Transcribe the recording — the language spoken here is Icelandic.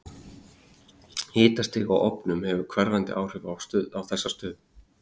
Hitastig á ofnum hefur hverfandi áhrif á þessa stöðu.